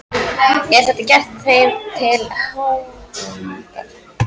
Er þetta gert þeim til háðungar?